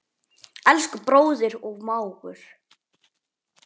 Elsku bróðir og mágur.